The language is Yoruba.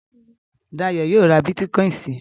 Dayọ̀ yóò ra bítíkọ́ìn si.